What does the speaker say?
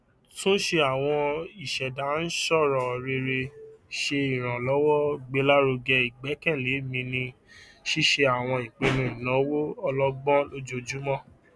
túnsẹ àwọn ìṣèdáǹṣọrò rere ṣe ìrànlọwọ gbélárugẹ ìgbẹkẹlé mi ní ṣíṣe àwọn ìpinnu ìnáwó ọlọgbọn lójoojúmọ